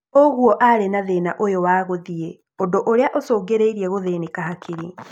Ũguo arĩ na thĩna ũyũ wa gũthiĩ ũndũ ũrĩa ũcũngĩrĩirie gũthĩnĩka hakiri